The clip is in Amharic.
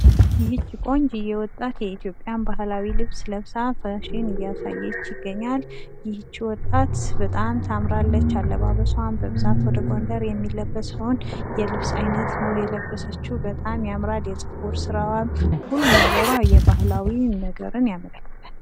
ይች ቆንጅየ ወጣት የኢትዮጵያን ባህላዊ ልብስ ለብሳ እያሳየች ይገኛል። ይች ወጣት በጣም ታምራለች አለባበሷ በብዛት ወደ ጎንደር የሚለብሰውን የልብስ አይነት ነው የለበሰችው በጣም ያምራል የጸጉር ስራዋም ሁሉ ነገሯ የባህላዊ ነገርን ያመለክታል።